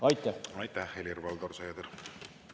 Aitäh, Helir-Valdor Seeder!